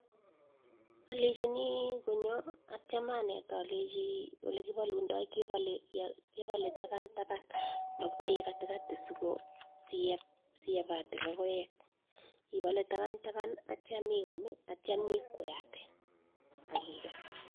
Alechini konyo atyam anet alechi olikapulandai , kepale taban taban makipale katikati siepate lokoek , ipale taban taban atyam ium ,atyam nyi kweate akikes .